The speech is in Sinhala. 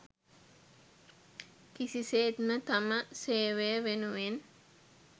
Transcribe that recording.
කිසිසේත්ම තම සේවය වෙනුවෙන්